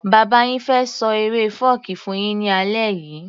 Bàbá yin fẹ́ ṣọ eré fọ́ọ̀kí fún yín ní alẹ́ yìí